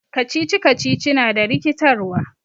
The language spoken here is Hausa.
Riddles is confusing.